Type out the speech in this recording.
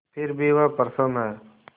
फिर भी वह प्रसन्न है